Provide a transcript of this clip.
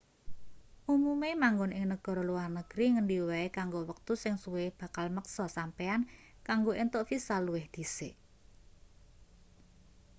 umume manggon ing negara luar negri ngendi wae kanggo wektu sing suwe bakal meksa sampeyan kanggo entuk visa luwih dhisik